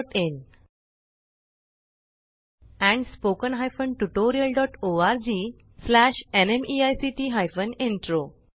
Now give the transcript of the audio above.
oscariitbacइन and spoken tutorialorgnmeict intro